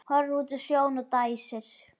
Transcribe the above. Horfir út á sjóinn og dæsir.